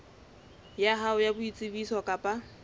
ya hao ya boitsebiso kapa